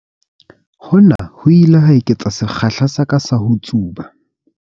Hona ho ile ha eketsa sekgahla sa ka sa ho tsuba.